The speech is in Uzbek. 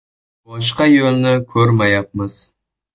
Boshqa yo‘lni ko‘rmayapmiz.